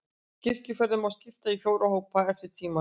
Kirkjufeðrunum má skipta í fjóra hópa, eftir tímaröð.